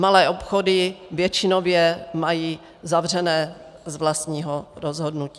Malé obchody většinově mají zavřeno z vlastního rozhodnutí.